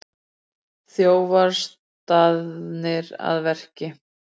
Þjófar staðnir að verki